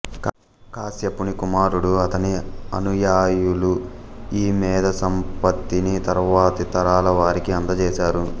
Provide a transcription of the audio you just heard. కశ్యపుని కుమారుడు ఆతని అనుయాయులు ఈ మేధాసంపత్తిని తరువాతి తరాలవారికి అందజేశారు